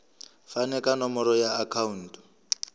fane ka nomoro ya akhauntu